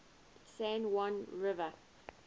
san juan river